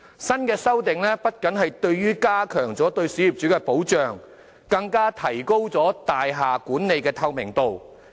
新的修訂不僅加強對小業主的保障，更提高大廈管理的透明度。